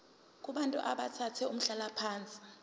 kubantu abathathe umhlalaphansi